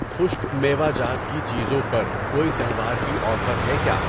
خشک میوہ جات کی چیزیں پر کوئی تہوار کی آفر ہے کیا؟